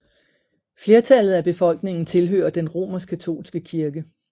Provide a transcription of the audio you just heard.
Flertallet af befolkningen tilhører den romerskkatolske kirke